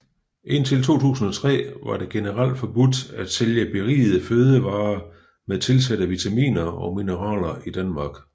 Indtil 2003 var det generelt forbudt at sælge berigede fødevarer med tilsatte vitaminer og mineraler i Danmark